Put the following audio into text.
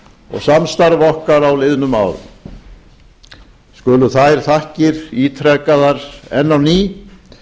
og samstarf okkar á liðnum árum skulu þær þakkir ítrekaðar enn á ný